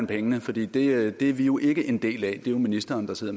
pengene fordi det er vi jo ikke en del af det er jo ministeren der sidder